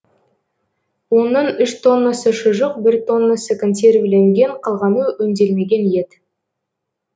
оның үш тоннасы шұжық бір тоннасы консервіленген қалғаны өңделмеген ет